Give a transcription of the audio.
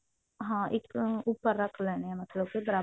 ਹਾਂ ਇੱਕ ਉੱਪਰ ਰੱਖ ਲੈਣੇ ਆ ਮਤਲਬ ਬਰਾਬਰ